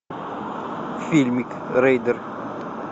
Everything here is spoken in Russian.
фильмик рейдер